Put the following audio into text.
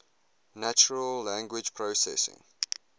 natural language processing